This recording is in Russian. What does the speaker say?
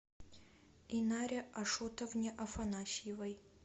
инаре ашотовне афанасьевой